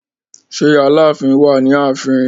Ṣé Aláàfin wà ní ààfin?